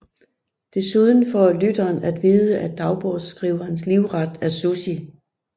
Desuden får lytteren af vide at dagbogskriverens livret er sushi